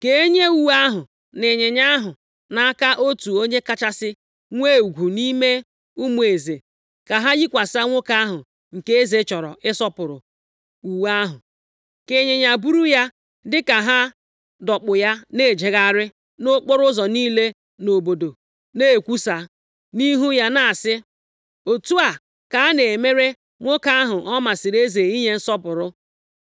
Ka enye uwe ahụ na ịnyịnya ahụ nʼaka otu onye kachasị nwee ugwu nʼime ụmụ eze, ka ha yikwasị nwoke ahụ nke eze chọrọ ịsọpụrụ uwe ahụ, ka ịnyịnya buru ya dịka ha dọkpụ ya na-ejegharị nʼokporoụzọ niile nʼobodo, na-ekwusa nʼihu ya na-asị, ‘Otu a ka a na-emere nwoke ahụ ọ masịrị eze inye nsọpụrụ!’ ”